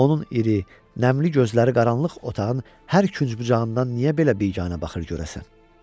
Onun iri, nəmli gözləri qaranlıq otağın hər künc-bucağından niyə belə biganə baxır görəsən?